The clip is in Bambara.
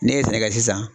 Ne ye sɛnɛkɛ sisan